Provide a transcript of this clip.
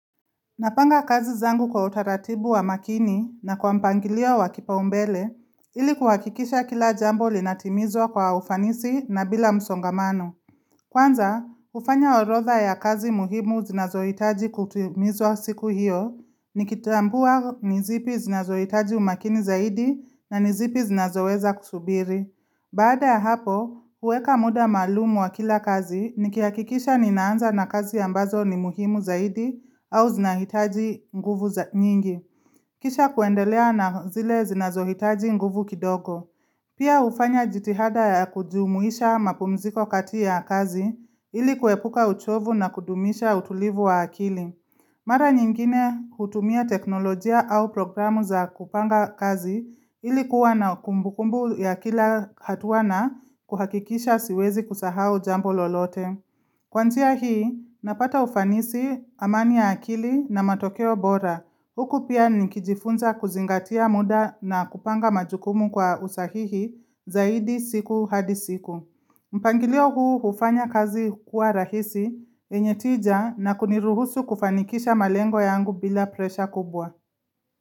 Napanga kazi zangu kwa utaratibu wa makini na kwa mpangilio wa kipaumbele, ili kuhakikisha kila jambo linatimizwa kwa ufanisi na bila msongamano. Kwanza, hufanya orodha ya kazi muhimu zinazohitaji kutimizwa siku hiyo, nikitambua nizipi zinazohitaji umakini zaidi na nizipi zinazoweza kusubiri. Baada ya hapo, huweka muda maalum wa kila kazi nikihakikisha ninaanza na kazi ambazo ni muhimu zaidi au zinahitaji nguvu nyingi. Kisha kuendelea na zile zinazohitaji nguvu kidogo. Pia hufanya jitihada ya kujumuisha mapumziko katia ya kazi ili kuepuka uchovu na kudumisha utulivu wa akili. Mara nyingine hutumia teknolojia au programu za kupanga kazi ilikuwa na kumbukumbu ya kila hatua na kuhakikisha siwezi kusahau jambo lolote. Kwa njia hii, napata ufanisi amani ya akili na matokeo bora. Huku pia nikijifunza kuzingatia muda na kupanga majukumu kwa usahihi zaidi siku hadi siku. Mpangilio huufanya kazi kuwa rahisi yenye tija na kuniruhusu kufanikisha malengo ya yangu bila presha kubwa.